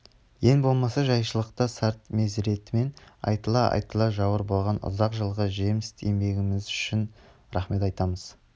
ең болмаса жайшылықта сарт мезіретімен айтыла-айтыла жауыр болған ұзақ жылғы жемст еңбегіңіз үшін рахмет айтамыз